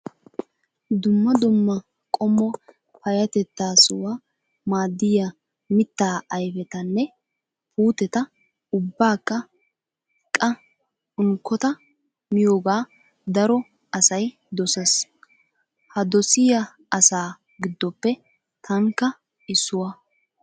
Dumma dumma qommo payyatettaswu maaddiyaa mittaa ayipetanne puutetaa ubbakka qa unkkota miyoogaa daro asayi doses. Ha dosiyaa asaa giddoppe tankka issuwaa.